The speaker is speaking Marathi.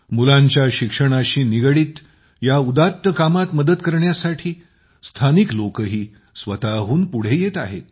मुलांच्या शिक्षणाशी निगडीत या उदात्त कामात मदत करण्यासाठी स्थानिक लोकही स्वतःहून पुढे येत आहेत